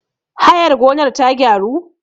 hayar gonar ta gyaru?